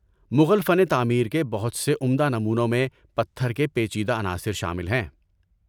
مغل فن تعمیر کے بہت سے عمدہ نمونوں میں پتھر کے پیچیدہ عناصر شامل ہیں۔